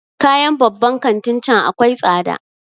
Kayan babban kantin can akwai tsada